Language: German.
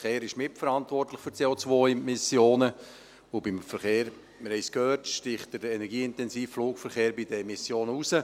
Der Verkehr ist mitverantwortlich für die CO-Emissionen, und beim Verkehr – wir haben es gehört – sticht der energieintensive Flugverkehr bei den Emissionen heraus.